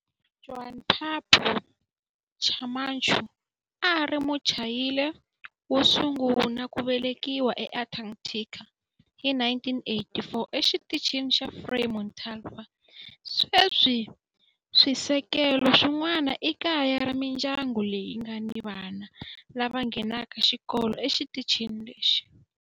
Juan Pablo Camacho a a ri Muchile wo sungula ku velekiwa eAntarctica hi 1984 eXitichini xa Frei Montalva. Sweswi swisekelo swin'wana i kaya ra mindyangu leyi nga ni vana lava nghenaka xikolo exitichini lexi.